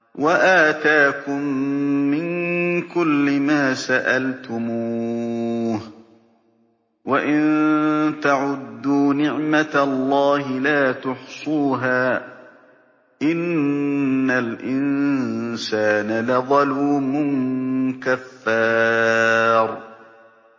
وَآتَاكُم مِّن كُلِّ مَا سَأَلْتُمُوهُ ۚ وَإِن تَعُدُّوا نِعْمَتَ اللَّهِ لَا تُحْصُوهَا ۗ إِنَّ الْإِنسَانَ لَظَلُومٌ كَفَّارٌ